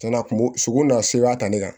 Cɛn na kun bon sogo nana sebaaya ta ne kan